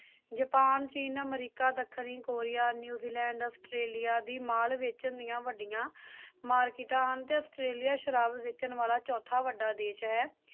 Japan, ਚੀਨ, ਅਮਰੀਕਾ, ਦੱਖਣੀ ਕੋਰੀਆ, ਨਿਊਜ਼ੀਲੈਂਡ, ਆਸਟ੍ਰੇਲੀਆ ਦੀ mall ਵਿੱਚ ਨਿਕਲੀਆਂ ਵੱਡੀਆਂ ਹ ਮਾਰਕੀਟਾਂ ਹਨ ਤੇ ਆਸਟ੍ਰੇਲੀਆ ਸ਼ਰਾਬ ਵੇਚਣ ਵਾਲਾ ਚੋਥਾ ਵੱਡਾ ਦੇਸ਼ ਹੈ